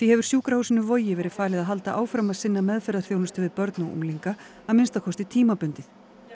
hefur sjúkrahúsinu Vogi verið falið að halda áfram að sinna meðferðarþjónustu við börn og unglinga að minnsta kosti tímabundið